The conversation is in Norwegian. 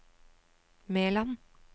Meland